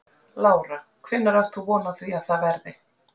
Lára: Hvenær átt von á því að það verði?